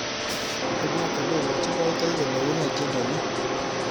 Ibwaat olagochinindoiti kole unee tyendo ni